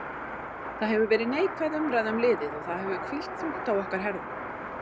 Það hefur verið neikvæð umræða um liðið og það hefur hvílt þungt á okkar herðum.